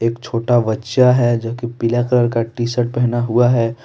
एक छोटा बच्चा है जो कि पीला कलर का टीशर्ट पहना हुआ है।